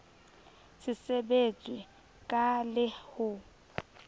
se sebetswe ka le ho